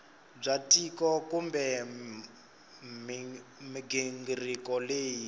bya tiko kumbe mighingiriko leyi